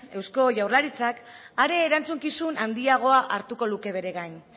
eusko jaurlaritzak are erantzukizun handiagoa hartuko luke bere gain